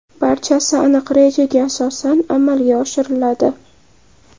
Barchasi aniq rejaga asosan amalga oshiriladi.